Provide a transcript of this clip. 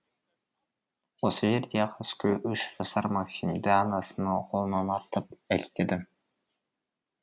осы жерде қаскөй үш жасар максимді анасының қолынан артып әкетеді